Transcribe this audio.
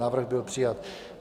Návrh byl přijat.